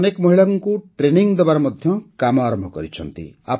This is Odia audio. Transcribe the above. ଏବେ ସେ ଅନେକ ମହିଳାଙ୍କୁ ଟ୍ରେନିଂ ଦେବାର କାମ ମଧ୍ୟ ଆରମ୍ଭ କରିଛନ୍ତି